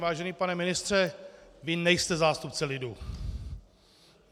Vážený pane ministře, vy nejste zástupce lidu!